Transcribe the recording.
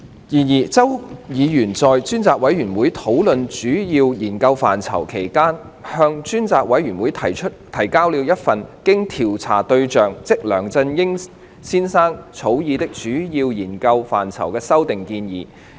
然而，周議員在專責委員會討論主要研究範疇期間，向專責委員會提交了一份經調查對象草擬的主要研究範疇的修訂建議。